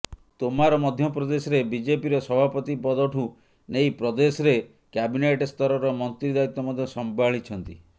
ତୋମାର ମଧ୍ୟ ପ୍ରଦେଶରେ ବିଜେପିର ସଭାପତି ପଦଠୁ ନେଇ ପ୍ରଦେଶରେ କ୍ୟାବିନେଟ୍ ସ୍ତରର ମନ୍ତ୍ରୀ ଦାୟିତ୍ବ ମଧ୍ୟ ସମ୍ଭାଳିଛନ୍ତି